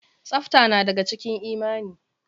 Tsafta na daga cikin imani.